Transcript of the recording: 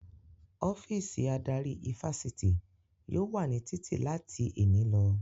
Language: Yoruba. Ọ́fíìsì adarí ifásitì yóò wà ní títì láti èní lọ